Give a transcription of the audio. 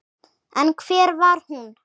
En hver var hún?